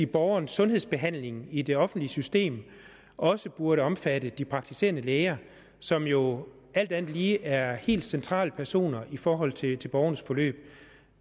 borgerens sundhedsbehandling i det offentlige system også burde omfatte de praktiserende læger som jo alt andet lige er helt centrale personer i forhold til til borgernes forløb